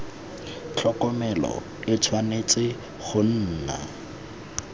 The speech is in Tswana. tlhokomelo e tshwanetse go nna